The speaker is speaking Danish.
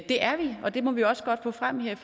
det er vi og det må vi også godt få frem her